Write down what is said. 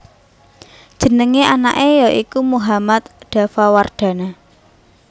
Jenengé anaké ya iku Mohammad Daffa Wardana